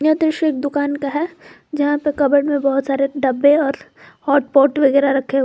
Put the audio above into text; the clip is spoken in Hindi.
यह दृश्य एक दुकान का है जहां पे कबड में बहोत सारे डब्बे और हॉटपॉट वगैरा रखे --